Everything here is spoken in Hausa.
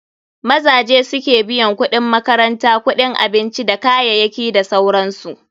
Maza suke biyan kuɗin makaranta, kuɗin abinci dakayayaki da sauransu.